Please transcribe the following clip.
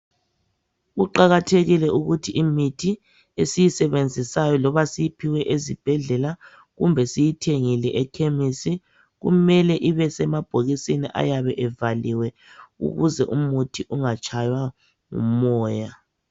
Kuqakathekile ukuthi imithi esiyisebenzisayo loba siyiphiwe ezibhedlela kumbe siyithengile ekhemisi kumele ibe semabhokisini ayabe evaliwe ukuze umuthi ungatshaywa ngumoya.